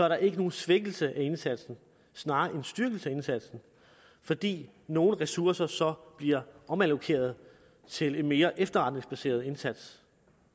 der ikke nogen svækkelse af indsatsen snarere en styrkelse af indsatsen fordi nogle ressourcer så bliver omallokeret til en mere efterretningsbaseret indsats